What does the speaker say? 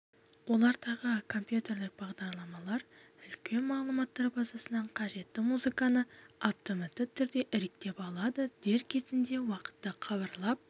олардағы компьютерлік бағдарламалар үлкен мағлұматтар базасынан қажетті музыканы автоматты түрде іріктеп алады дер кезінде уақытты хабарлап